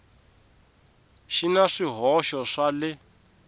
xi na swihoxo swa le